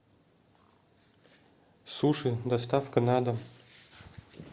суши доставка на дом